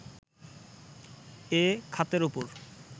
এ খাতের ওপর